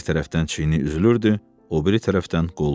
Bir tərəfdən çiyini üzülürdü, o biri tərəfdən qolu.